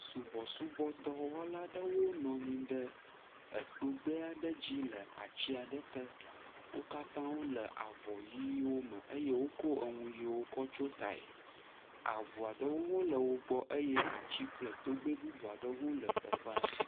Sɔbɔsubɔdɔwɔlawo nɔ anyi ɖe togbɛ aɖe dzi le ati aɖe te wo katã wole avɔ ɣiwo me eye wokɔ nu ɣiwo tsyɔ tae ave aɖewo ha le wogbɔ eye ati kple togbɛ bubu aɖewo le teƒea